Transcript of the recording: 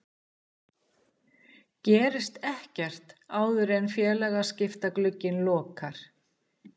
Gerist ekkert áður en félagaskiptaglugginn lokar?